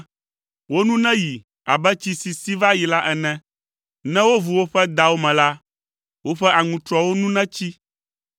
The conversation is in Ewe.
Wo nu neyi abe tsi si si va yi la ene. Ne wovu woƒe dawo me la, woƒe aŋutrɔwo nu netsi.